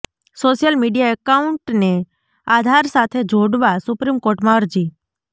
social media એકાઉન્ટને આધાર સાથે જોડવા સુપ્રીમ કોર્ટમાં અરજી